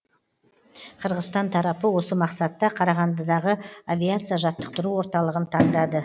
қырғызстан тарапы осы мақсатта қарағандыдағы авиация жаттықтыру орталығын таңдады